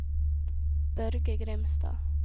Børge Grimstad